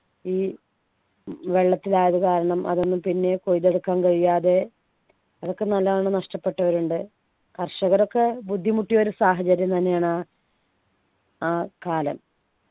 ഈ വെള്ളത്തിലായതു കാരണം അതൊന്നും പിന്നെ കൊയ്തെടുക്കാൻ കഴിയാതെ അതൊക്കെ നല്ലോണം നഷ്ടപ്പെട്ടവരുണ്ട് കർഷകരൊക്കെ ബുദ്ധിമുട്ടിയൊരു സാഹചര്യം തന്നെയാണ് ആ ആ കാലം